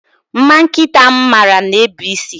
Mma nkịta m mara na-ebu isi